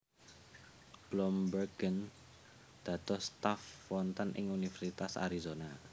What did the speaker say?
Bloembergen dados staf wonten ing Universitas Arizona